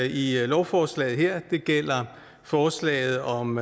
i lovforslaget her det gælder forslaget om